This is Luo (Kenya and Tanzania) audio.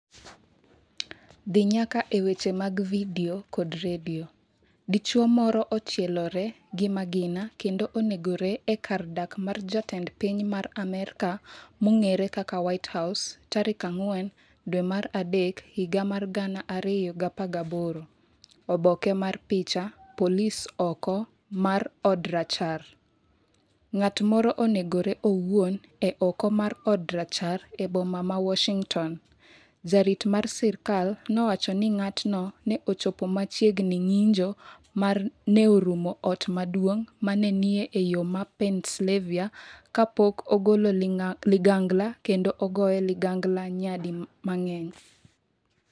dhi nyaka e weche mag Vidio kod Redio dichuo moro ochielore gi magina kendo onegore e kar dak mar jatend piny ma amerka mong'ere kaka whitehouse tarik 4 dwe mar adek higa mar 2018 Oboke mar picha, Polis oko mar Od Rachar Ng'at moro onegore owuon e oko mar Od Rachar e boma ma Washington, jarit mar sirkal nowacho ni ng'atno ne ochopo machiegni ng’injo ma ne orumo Ot Maduong’ ma ne ni e yo ma Pennsylvania kapok ogolo ligangla kendo ogoye ligangla nyadi mang’eny.